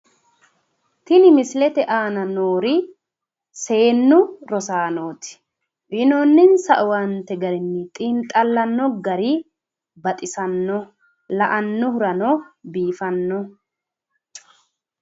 Tini misilete aana noori seennu rosaanooti. Uyinoonninsa owaante garinni xiinxallanno gari baxisannoho. La"annohurano biifannoho.